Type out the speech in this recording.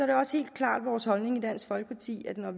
det også helt klart vores holdning i dansk folkeparti at når